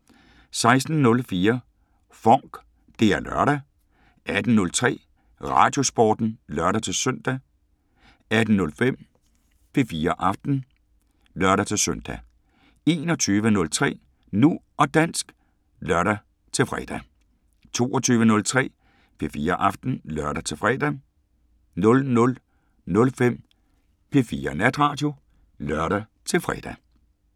16:04: FONK! Det er lørdag 18:03: Radiosporten (lør-søn) 18:05: P4 Aften (lør-søn) 21:03: Nu og dansk (lør-fre) 22:03: P4 Aften (lør-fre) 00:05: P4 Natradio (lør-fre)